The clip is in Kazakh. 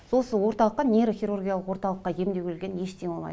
орталыққа нейрохирургиялық ортылыққа емдеуге келген ештеңе болмайды